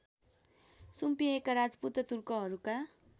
सुम्पिएका Rajput तुर्कहरूका